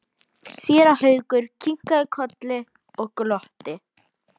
Séra Haukur kinkaði kolli og glotti.